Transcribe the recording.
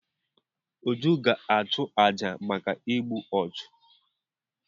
Uju ga-achụ àjà maka igbu ọchụ.